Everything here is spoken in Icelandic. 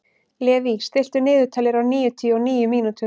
Levý, stilltu niðurteljara á níutíu og níu mínútur.